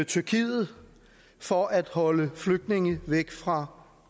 tyrkiet for at holde flygtninge væk fra